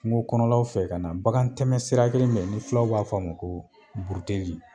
Kungo kɔnɔlaw fɛ ka na, bakan tɛmɛ sira kelen min be ye ni filaw b'a fɔ ma ko buruteli